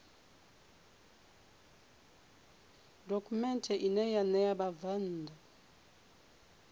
dokhumenthe ine ya ṋea vhabvann